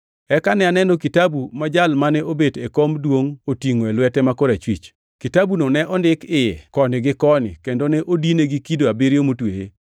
Eka ne aneno kitabu ma jal mane obet e kom duongʼ otingʼo e lwete ma korachwich, kitabuno ne ondiki iye koni gi koni kendo ne odine gi kido abiriyo motweye.